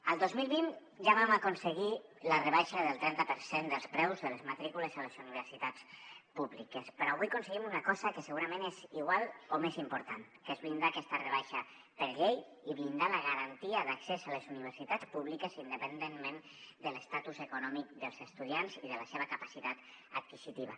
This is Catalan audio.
el dos mil vint ja vam aconseguir la rebaixa del trenta per cent dels preus de les matrícules a les universitats públiques però avui aconseguim una cosa que segurament és igual o més important que és blindar aquesta rebaixa per llei i blindar la garantia d’accés a les universitats públiques independentment de l’estatus econòmic dels estudiants i de la seva capacitat adquisitiva